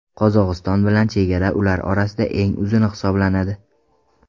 Qozog‘iston bilan chegara ular orasida eng uzuni hisoblanadi.